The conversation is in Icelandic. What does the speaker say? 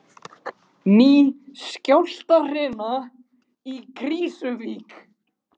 Ný skjálftahrina í Krýsuvík